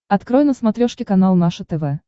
открой на смотрешке канал наше тв